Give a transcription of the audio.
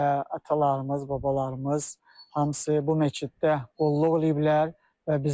Və atalarımız, babalarımız hamısı bu məsciddə qulluq eləyiblər.